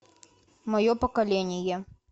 мое поколение